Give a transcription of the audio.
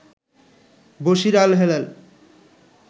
Bashir Alhelal